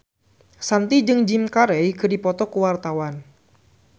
Shanti jeung Jim Carey keur dipoto ku wartawan